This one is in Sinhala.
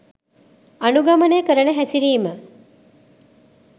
අනුගමනය කරන හැසිරිම